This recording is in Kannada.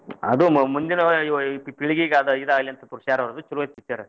ಅದ ಮ~ ಮುಂದಿನ ಯು~ ಯುವ ಪೀಳಿಗೆಗ ಇದ ಆಗ್ಲಿ ಅಂತ ತೋರಸಿದಾರು ಚೊಲೋ ಐತಿ picture .